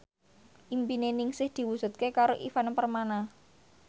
impine Ningsih diwujudke karo Ivan Permana